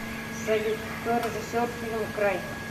салют кто режиссер фильма край